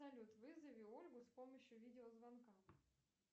салют вызови ольгу с помощью видеозвонка